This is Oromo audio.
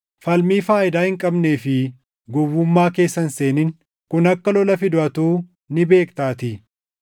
Falmii faayidaa hin qabnee fi gowwummaa keessa hin seenin; kun akka lola fidu atuu ni beektaatii.